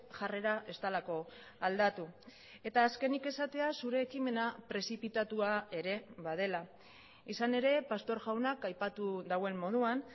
jarrera ez delako aldatu eta azkenik esatea zure ekimena prezipitatua ere badela izan ere pastor jaunak aipatu duen moduan